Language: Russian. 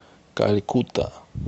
калькутта